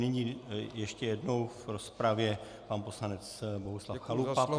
Nyní ještě jednou v rozpravě pan poslanec Bohuslav Chalupa.